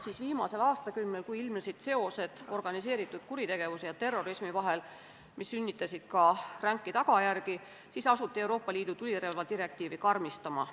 Seevastu viimasel aastakümnel, kui ilmnesid seosed organiseeritud kuritegevuse ja terrorismi vahel, mis sünnitasid ka ränki tagajärgi, asuti Euroopa Liidu tulirelvadirektiivi karmistama.